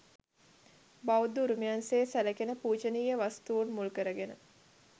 බෞද්ධ උරුමයන් සේ සැලකෙන පූජනීය වස්තූන් මුල්කරගෙන